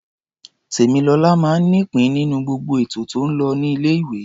Tèmilọlá máa ń nípìn-ín nínú gbogbo ètò tó ń lọ ní ilé-ìwé.